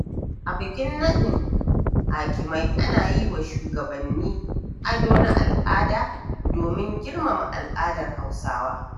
A bikin nadin hakimai, ana yi wa shugabanni ado na al’ada domin girmama al'adar Hausawa.